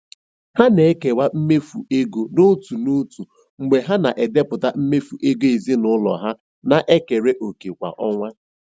Ha na-ekewa mmefu ego n'otu n'otu mgbe ha na-edepụta mmefu ego ezinụlọ ha na-ekere òkè kwa ọnwa.